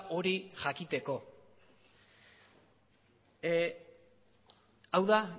hori jakiteko hau da